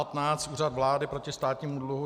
A15. Úřad vlády proti státnímu dluhu.